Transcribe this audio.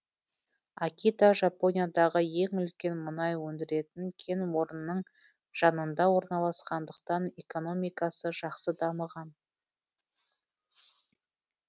акита жапониядағы ең үлкен мұнай өндіретін кен орнының жанында орналасқандықтан экономикасы жақсы дамыған